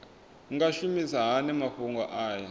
nga shumisa hani mafhumgo aya